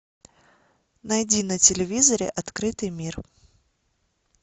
найди на телевизоре открытый мир